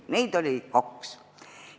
Neid oli kaks.